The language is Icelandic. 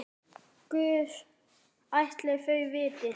Guð ætli þau viti.